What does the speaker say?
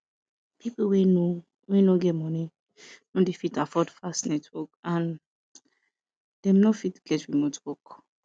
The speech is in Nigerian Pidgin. pipo wey no wey no get money no dey fit afford fast network and dem no fit get remote work